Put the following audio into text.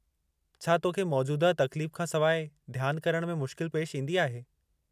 छा तोखे मौजूदह तकलीफ खां सवाइ ध्यानु करण में मुश्किल पेशि ईंदी आहे?